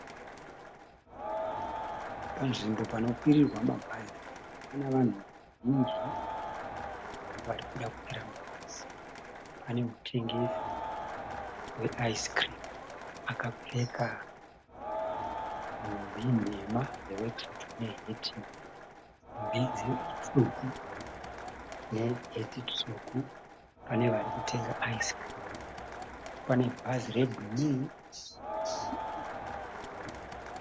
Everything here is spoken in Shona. Panzvimbo panokwirirwa mabhazi panavanhu vazhinji varikuda kukwira mabhazi. Pane mutengesi weaizikirimu akapfeka nhumbi nhema dzewekisutu tsvuku neheti tsvuku. Pane varikutenga aizikirimu. Panebhazi rebhuruu.